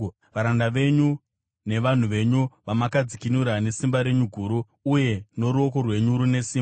“Varanda venyu nevanhu venyu, vamakadzikinura nesimba renyu guru uye noruoko rwenyu rune simba.